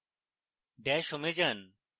dash home এ যান